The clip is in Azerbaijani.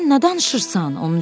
Sən nə danışırsan?